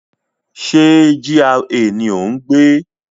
Ṣé GRA ni o n gbé?